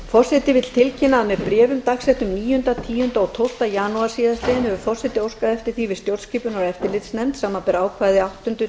forseti vill tilkynna að með bréfum dagsettum níundi tíunda og tólfta janúar síðastliðinn hefur forseti óskað eftir því við stjórnskipunar og eftirlitsnefnd samanber ákvæði áttunda